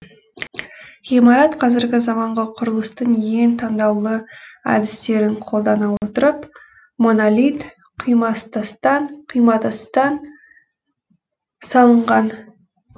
ғимарат қазіргі заманғы құрылыстың ең таңдаулы әдістерін қолдана отырып монолит құйматастан салынған